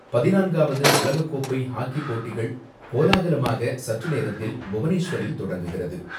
பதினான்காவது உலகக்கோப்பை ஹாக்கிப் போட்டிகள் கோலாகலமாக சற்றுநேரத்தில் புவனேஸ்வரில் தொடங்குகிறது.